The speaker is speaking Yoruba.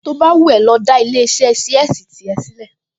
To bá wù ẹ́ lọ dá ilé-iṣẹ́ ṣíẹ́sì tìrẹ sílẹ̀